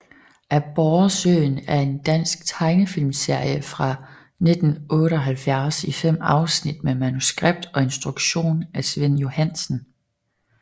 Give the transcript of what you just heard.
Aborresøen er en dansk tegnefilmserie fra 1978 i fem afsnit med manuskript og instruktion af Svend Johansen